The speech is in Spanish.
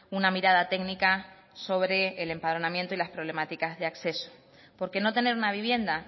una mirada técnica sobre el empadronamiento y las problemáticas de acceso porque no tener una vivienda